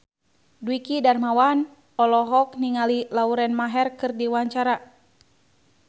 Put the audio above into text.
Dwiki Darmawan olohok ningali Lauren Maher keur diwawancara